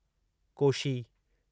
Koshi